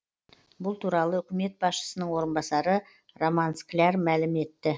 бұл туралы үкімет басшысының орынбасары роман скляр мәлім етті